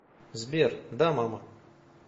сбер да мама